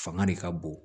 Fanga de ka bon